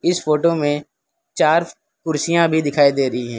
इस फोटो में चार कुर्सियां भी दिखाई दे रही है।